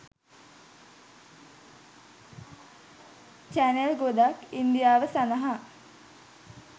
channel ගොඩක් ඉන්දියාව සඳහා